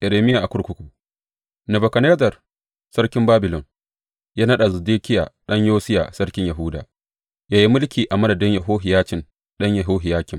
Irmiya a kurkuku Nebukadnezzar sarkin Babilon ya naɗa Zedekiya ɗan Yosiya sarkin Yahuda; ya yi mulki a madadin Yehohiyacin ɗan Yehohiyakim.